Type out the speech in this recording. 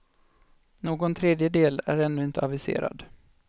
Någon tredje del är ännu inte aviserad.